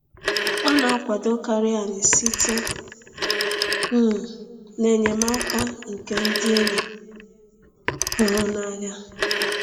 Ọ na-akwadokarị anyị site um n’enyemaka nke ndị enyi hụrụ n’anya.